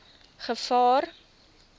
gevaar